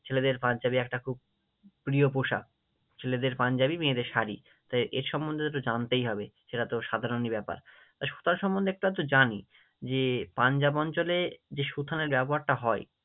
ছেলেদের পাঞ্জাবি একটা খুব প্রিয় পোশাকী, ছেলেদের পাঞ্জাবি মেয়েদের শাড়ি, তো এ সম্মন্ধে তো একটু জানতেই হবে, এটা তো সাধারণই ব্যাপার, তো সুথানা সম্মন্ধে একটু আধটু জানি যে পাঞ্জাব অঞ্চলে যে সুথানার ব্যবহারটা হয়,